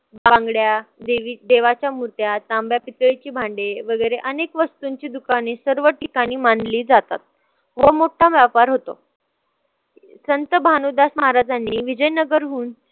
बांगड्या, देवाच्या मूर्त्या, तांब्या-पितळीची भांडे वगैरे अनेक वस्तूंची दुकाने सर्व ठिकाणी मांडली जातात व्ह्यापार होतो, संत भानुदास महाराजांनी विजयनगर हुन.